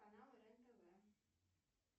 канал рен тв